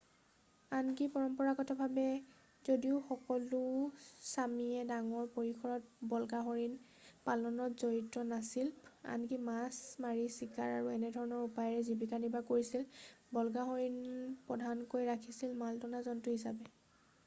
আনকি পৰম্পৰাগতভাৱে যদিও সকলো ছামিয়ে ডাঙৰ পৰিসৰত বল্গাহৰিণ পালনত জড়িত নাছিল আনকি মাছ মাৰি চিকাৰ আৰু একেধৰণৰ উপায়েৰে জীৱিকা নিৰ্বাহ কৰিছিল বল্গাহৰিণ প্ৰধানকৈ ৰাখিছিল মাল টনা জন্তু হিচাপে